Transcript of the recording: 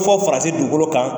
fɔ faransi dugukolo kan